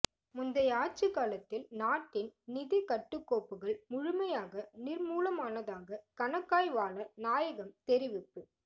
முன்யை ஆட்சிகாலத்தில் நாட்டின் நிதிக் கட்டுக்கோப்புகள் முழுமையாக நிர்மூலமானதாக கணக்காய்வாளர் நாயகம்தெரிவிப்பு